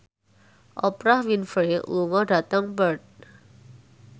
Oprah Winfrey lunga dhateng Perth